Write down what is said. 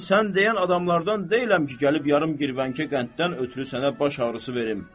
Mən sən deyən adamlardan deyiləm ki, gəlib yarım girvənkə qənddən ötrü sənə baş ağrısı verim.